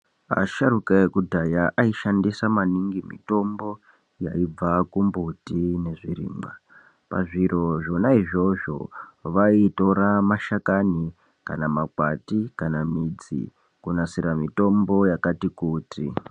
Asharuka ekudhaya aishandisa maningi mitombo yaibva kumbuti nezvirimwa. Pazviro zvona izvozvo vaitora mashakani kana makwati kana midzi kunasira mitombo yakati kuti.